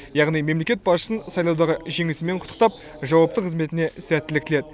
яғни мемлекет басшысын сайлаудағы жеңісімен құттықтап жауапты қызметіне сәттілік тіледі